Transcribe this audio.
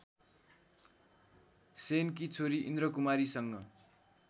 सेनकी छोरी इन्द्रकुमारीसँग